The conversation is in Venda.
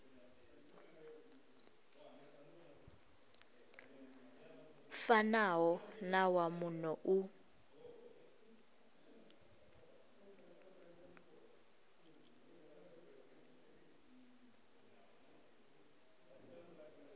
fanaho na wa muno u